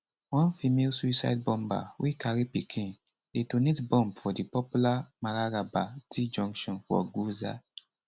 one female suicide bomber wey carry pikin detonate bomb for di popular mararaba t junction for gwoza